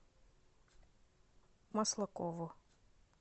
маслакову